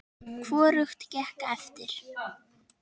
Hvorugt gekk eftir.